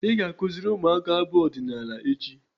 Ị ga-akụziri ụmụaka abụ ọdịnaala echi!